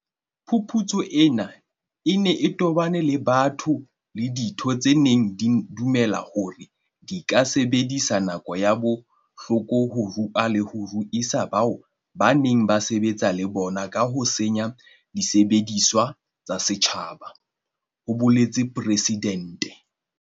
"Phuputso ena e ne e tobane le batho le ditheo tse neng di dumela hore di ka sebedisa nako ya bohloko ho rua le ho ruisa bao ba neng ba sebetsa le bona ka ho senya disebediswa tsa setjhaba," ho boletse Presidente.